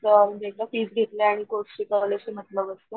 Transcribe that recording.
अ एकदा फीस घेतली आणि कोर्स शिकवण्याशी मतलब असतो.